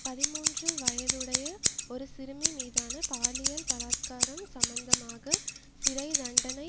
பதிமூன்று வயதுடைய ஒரு சிறுமி மீதான பாலியல் பலாத்காரம் சம்பந்தமாக சிறை தண்டனை